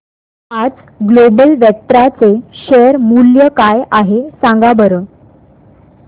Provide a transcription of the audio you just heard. आज Global Vectra चे share मूल्य काय आहे सांगा बरं